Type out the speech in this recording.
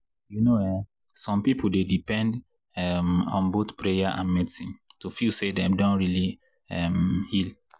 you know um some people dey depend um on both prayer and medicine to feel say dem don really um heal.